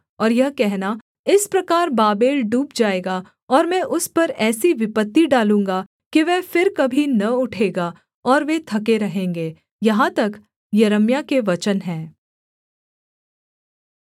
और यह कहना इस प्रकार बाबेल डूब जाएगा और मैं उस पर ऐसी विपत्ति डालूँगा कि वह फिर कभी न उठेगा और वे थके रहेंगे यहाँ तक यिर्मयाह के वचन हैं